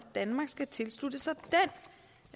danmark skal tilslutte sig